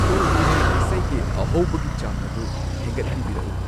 two ꯍꯤ ꯔꯦ' ꯏꯁꯩꯒꯤ ꯑꯍꯧꯕꯒꯤ ꯆꯥꯡ ꯑꯗꯨ ꯍꯦꯟꯒꯠꯍꯟꯕꯤꯔꯛ ꯎ